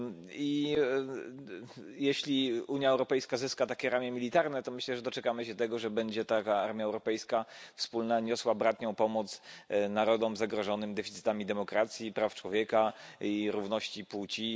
I jeśli Unia Europejska zyska takie ramię militarne, to myślę, że doczekamy się tego, że będzie taka wspólna armia europejska niosła bratnią pomoc narodom zagrożonym deficytami demokracji, praw człowieka i równości płci.